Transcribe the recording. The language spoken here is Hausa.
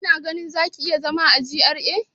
Kina ganin za ki iya zama a GRA?